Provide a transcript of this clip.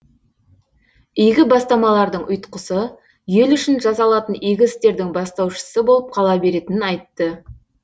игі бастамалардың ұйтқысы ел үшін жасалатын игі істердің бастаушысы болып қала беретінін айтты